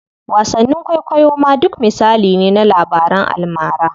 Wasanni kwaikwayo ma duk misali ne na labaran almara.